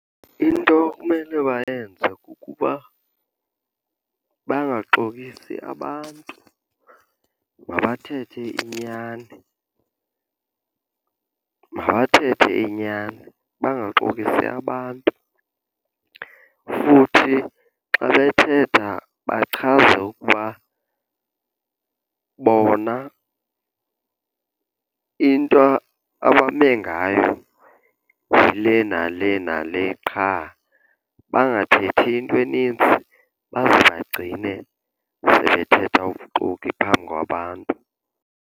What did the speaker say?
Into ekumele bayenze kukuba bangaxokisi abantu. Mabathethe inyani, mabathethe inyani bangaxokisi abantu. Futhi xa bethetha bachaze ukuba bona into abame ngayo yile nale nale qha. Bangathethi into enintsi baze bagcine sebethetha ubuxoki phambi kwabantu.